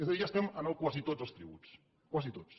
és a dir ja estem en el quasi tots els tributs quasi tots